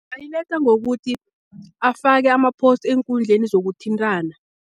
Ayiletha ngokuthi afake ama-post eenkundleni zokuthintana.